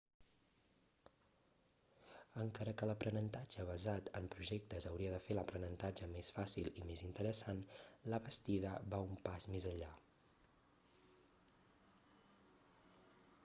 encara que l'aprenentatge basat en projectes hauria de fer l'aprenentatge més fàcil i més interessant la bastida va un pas més enllà